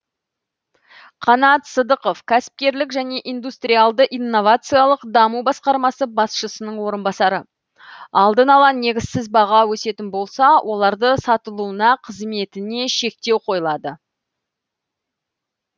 қанат сыдықов кәсіпкерлік және индустриалды инновациялық даму басқармасы басшысының орынбасары алдын ала негізсіз баға өсетін болса олардың сатылуына қызметіне шектеу қойылады